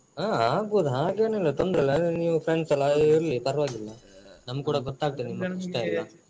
ಹಾ ಆಗ್ಬೋದು ಹಾಗೇನು ಇಲ್ಲ ತೊಂದ್ರೆ ಇಲ್ಲ ಅದರಲ್ಲಿ ನೀವು friends ಅಲ್ಲ ಹಾಗಾಗಿ ಇರ್ಲಿ ಪರ್ವಾಗಿಲ್ಲ ನಮ್ಗ್ ಕೂಡ ನಿಮ್ಮ ಕಷ್ಟ ಎಲ್ಲ.